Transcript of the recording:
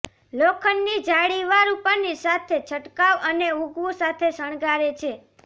લોખંડની જાળીવાળું પનીર સાથે છંટકાવ અને ઊગવું સાથે શણગારે છે